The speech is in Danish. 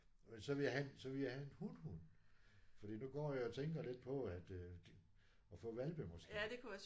Og så ville jeg have så ville jeg have en hunhund fordi nu går jeg jo og tænker lidt på at de at få hvalpe måske